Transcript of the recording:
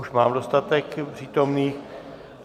Už mám dostatek přítomných.